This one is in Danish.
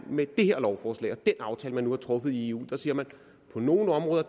med det her lovforslag og den aftale man nu har truffet i eu siger man at på nogle områder